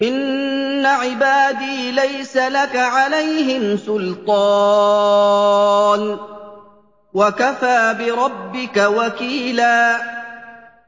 إِنَّ عِبَادِي لَيْسَ لَكَ عَلَيْهِمْ سُلْطَانٌ ۚ وَكَفَىٰ بِرَبِّكَ وَكِيلًا